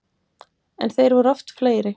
En þeir eru oft fleiri.